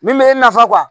Min bɛ e nafa